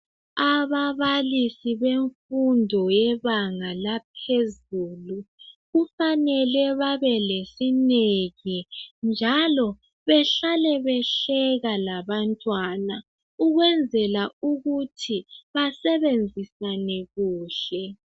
Ababalisi bemfundo yebenga laphezulu, kufanele babe lesineke, njalo behlale behleka labantwana, ukwenzela ukuthi basebenzisane kuhle.